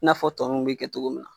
I n'afɔ tɔ nunnu be kɛ cogo min na.